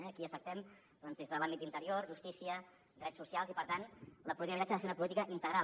aquí afectem des de l’àmbit d’interior justícia drets socials i per tant la política d’habitatge ha de ser una política integral